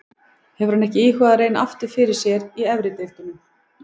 Hefur hann ekki íhugað að reyna aftur fyrir sér í efri deildum?